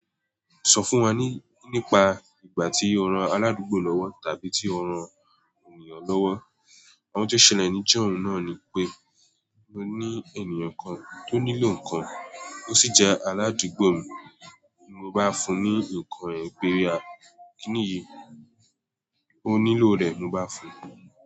Sọ fún wa nípa ìgbà tí o ran aládùúgbò lọ́wọ́ tàbí tí o ran ènìyàn lọ́wọ́. Òhun tí o ṣẹlẹ níjọ́hun náà ni pé mo ní ènìyàn kan tó nílò nǹkan, ó sì jẹ́ aládùúgbò mi. Mo bá fún un ní nǹkan rẹ̀, ó gbèrè wa "Kí nìyí?" Ó nílò rẹ̀ mo bá fún un.